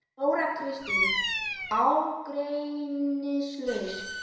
Þóra Kristín: Ágreiningslaust?